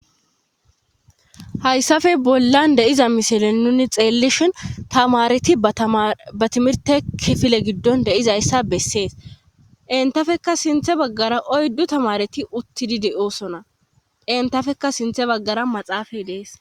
hayssafe bollan deiza misilen nuni xeellishhin tamareti ba timirte kifile giddon deizayssa bessees entafeka sinthe baggara oyddu tamareti uttidide oosona entafeka sinthe baggara maxaafay dees